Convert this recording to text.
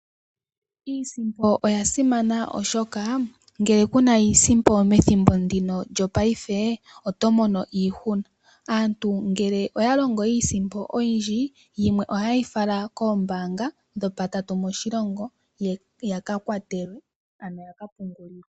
Iisimpo oya simana oshoka ngele ku yi na methimbo lyongaashingeyi oto mono iihuna. Aantu uuna ya longa iisimpo oyindji yimwe oha ye yi fala koombanga dhopatatu moshilongo opo yika pungulwe.